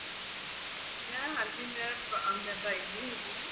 ਮੈਂ ਹਾਂਜੀ ਮੈਂ primary ਹੈਗੀ ਹਾ